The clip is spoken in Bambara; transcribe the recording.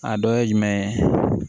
A dɔ ye jumɛn ye